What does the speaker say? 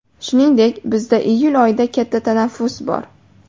Shuningdek, bizda iyul oyida katta tanaffus bor.